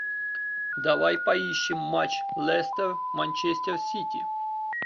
давай поищем матч лестер манчестер сити